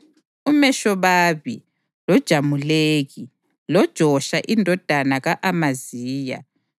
UMeshobabi loJamuleki, loJosha indodana ka-Amaziya